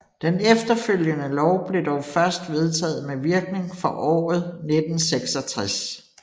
Den efterfølgende lov blev dog først vedtaget med virkning for året 1966